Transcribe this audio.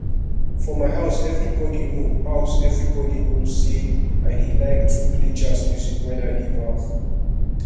for my house everybody know house everybody know say i dey like to play jazz music wen i dey baff